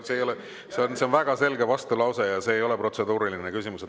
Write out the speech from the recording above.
See on väga selge vastulause ja see ei ole protseduuriline küsimus.